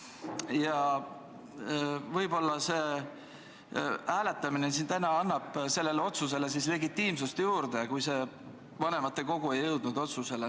Ja võib-olla see hääletamine siin annab sellele otsusele legitiimsust juurde, kui vanematekogu ei jõudnud üksmeelele.